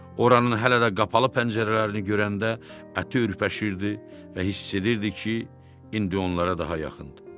Oranın hələ də qapalı pəncərələrini görəndə əti ürpəşirdi və hiss edirdi ki, indi onlara daha yaxındır.